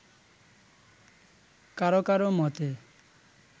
কারো কারো মতে